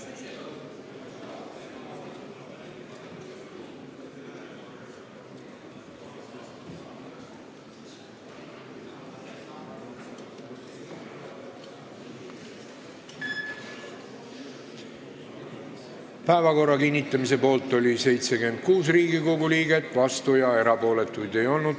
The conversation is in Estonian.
Hääletustulemused Päevakorra kinnitamise poolt oli 76 Riigikogu liiget, vastuolijaid ega erapooletuid ei olnud.